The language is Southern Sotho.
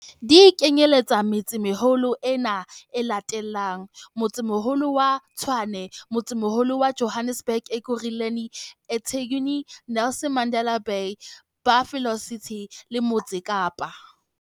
Di kenyeletsa metse-meholo ena e latelang- Motsemoholo wa Tshwane Motsemoholo wa Johannesburg Ekurhuleni eThekwini Nelson Mandela Bay Buffalo City le Motse Kapa.